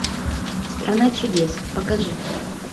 страна чудес покажи